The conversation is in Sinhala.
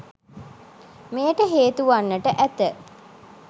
මෙයට හේතුවන්නට ඇත.